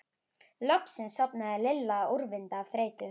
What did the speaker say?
Loksins sofnaði Lilla úrvinda af þreytu.